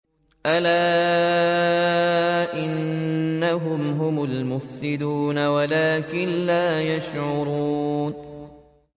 أَلَا إِنَّهُمْ هُمُ الْمُفْسِدُونَ وَلَٰكِن لَّا يَشْعُرُونَ